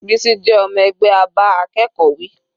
Bisi jẹ́ ọmọ ẹgbẹ́ a bá akẹ́kọ̀ọ́ wí.